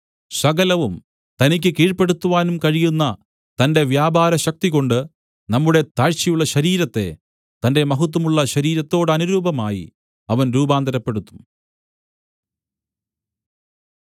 സകലവും തനിക്ക് കീഴ്പെടുത്തുവാനും കഴിയുന്ന തന്റെ വ്യാപാരശക്തികൊണ്ട് നമ്മുടെ താഴ്ചയുള്ള ശരീരത്തെ തന്റെ മഹത്വമുള്ള ശരീരത്തോടനുരൂപമായി അവൻ രൂപാന്തരപ്പെടുത്തും